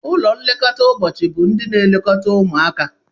Ụlọ nlekọta ụbọchị bụ ndị na-elekọta ụmụaka.